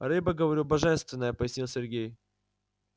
рыба говорю божественная пояснил сергей